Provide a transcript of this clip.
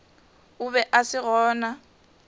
o be a se gona